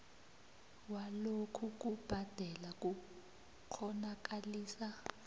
walokhu kubhadela kukghonakalisa